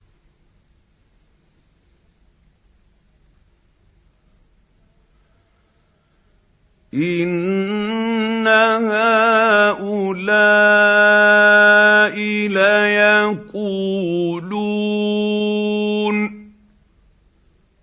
إِنَّ هَٰؤُلَاءِ لَيَقُولُونَ